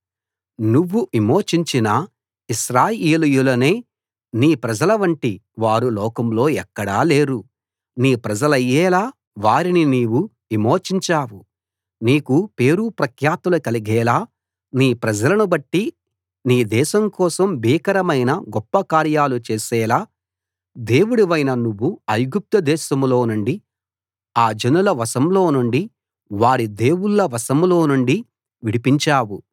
నువ్వు విమోచించిన ఇశ్రాయేలీయులనే నీ ప్రజలవంటి వారు లోకంలో ఎక్కడా లేరు నీ ప్రజలయ్యేలా వారిని నీవు విమోచించావు నీకు పేరు ప్రఖ్యాతులు కలిగేలా నీ ప్రజలను బట్టి నీ దేశం కోసం భీకరమైన గొప్పకార్యాలు చేసేలా దేవుడవైన నువ్వు ఐగుప్తు దేశంలో నుండి ఆ జనుల వశంలో నుండి వారి దేవుళ్ళ వశంలో నుండి విడిపించావు